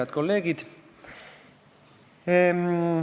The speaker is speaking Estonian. Head kolleegid!